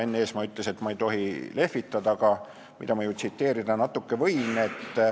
Enn Eesmaa ütles, et ma ei tohi sellega lehvitada, aga tsiteerida ju natuke võin.